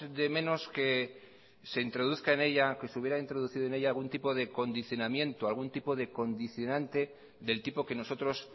de menos que se introduzca en ella que se hubiera introducido en ella algún tipo de condicionamiento algún tipo de condicionante del tipo que nosotros